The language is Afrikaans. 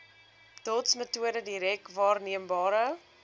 dotsmetode direk waarneembare